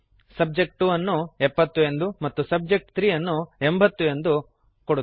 subject 2 ನ್ನು 70 ಎಂದು ಮತ್ತು ಸಬ್ಜೆಕ್ಟ್ 3 ನ್ನು 80 ಎಂದು ಕೊಡುತ್ತೇನೆ